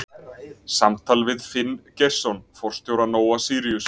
Samtal við Finn Geirsson forstjóra Nóa-Síríus.